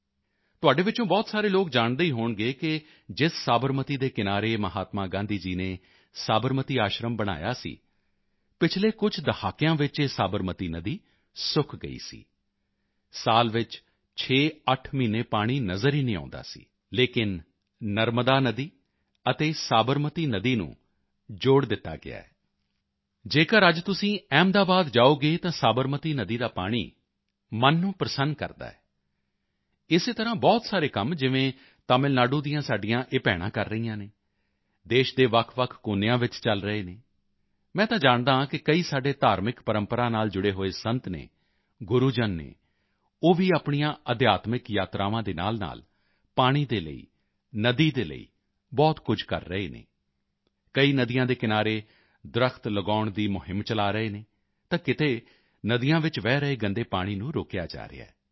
ਤੁਹਾਡੇ ਵਿੱਚੋਂ ਬਹੁਤ ਸਾਰੇ ਲੋਕ ਜਾਣਦੇ ਹੀ ਹੋਣਗੇ ਕਿ ਜਿਸ ਸਾਬਰਮਤੀ ਦੇ ਕਿਨਾਰੇ ਮਹਾਤਮਾ ਗਾਂਧੀ ਨੇ ਸਾਬਰਮਤੀ ਆਸ਼ਰਮ ਬਣਾਇਆ ਸੀ ਪਿਛਲੇ ਕੁਝ ਦਹਾਕਿਆਂ ਵਿੱਚ ਇਹ ਸਾਬਰਮਤੀ ਨਦੀ ਸੁੱਕ ਗਈ ਸੀ ਸਾਲ ਵਿੱਚ 68 ਮਹੀਨੇ ਪਾਣੀ ਨਜ਼ਰ ਹੀ ਨਹੀਂ ਆਉਂਦਾ ਸੀ ਲੇਕਿਨ ਨਰਮਦਾ ਨਦੀ ਅਤੇ ਸਾਬਰਮਤੀ ਨਦੀ ਨੂੰ ਜੋੜ ਦਿੱਤਾ ਗਿਆ ਜੇਕਰ ਅੱਜ ਤੁਸੀਂ ਅਹਿਮਦਾਬਾਦ ਜਾਓਗੇ ਤਾਂ ਸਾਬਰਮਤੀ ਨਦੀ ਦਾ ਪਾਣੀ ਮਨ ਨੂੰ ਪ੍ਰਸੰਨ ਕਰਦਾ ਹੈ ਇਸੇ ਤਰ੍ਹਾਂ ਬਹੁਤ ਸਾਰੇ ਕੰਮ ਜਿਵੇਂ ਤਮਿਲ ਨਾਡੂ ਦੀਆਂ ਸਾਡੀਆਂ ਇਹ ਭੈਣਾਂ ਕਰ ਰਹੀਆਂ ਹਨ ਦੇਸ਼ ਦੇ ਵੱਖਵੱਖ ਕੋਨਿਆਂ ਵਿੱਚ ਚਲ ਰਹੇ ਹਨ ਮੈਂ ਤਾਂ ਜਾਣਦਾ ਹਾਂ ਕਿ ਕਈ ਸਾਡੇ ਧਾਰਮਿਕ ਪਰੰਪਰਾ ਨਾਲ ਜੁੜੇ ਹੋਏ ਸੰਤ ਹਨ ਗੁਰੂਜਨ ਹਨ ਉਹ ਵੀ ਆਪਣੀਆਂ ਅਧਿਆਤਮਿਕ ਯਾਤਰਾਵਾਂ ਦੇ ਨਾਲਨਾਲ ਪਾਣੀ ਦੇ ਲਈ ਨਦੀ ਦੇ ਲਈ ਬਹੁਤ ਕੁਝ ਕਰ ਰਹੇ ਹਨ ਕਈ ਨਦੀਆਂ ਦੇ ਕਿਨਾਰੇ ਦਰੱਖਤ ਲਗਾਉਣ ਦੀ ਮੁਹਿੰਮ ਚਲਾ ਰਹੇ ਹਨ ਤਾਂ ਕਿਤੇ ਨਦੀਆਂ ਵਿੱਚ ਵਹਿ ਰਹੇ ਗੰਦੇ ਪਾਣੀ ਨੂੰ ਰੋਕਿਆ ਜਾ ਰਿਹਾ ਹੈ